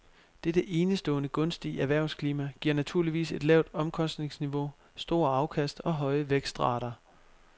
Dette enestående gunstige erhvervsklima giver naturligvis et lavt omkostningsniveau, store afkast og høje vækstrater.